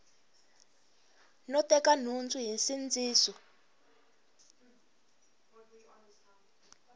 no teka nhundzu hi nsindziso